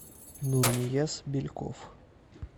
нурнияз бельков